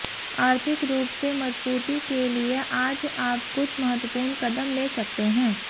आर्थिक रूप से मजबूती के लिए आज आप कुछ महत्वपूर्ण कदम ले सकते हैं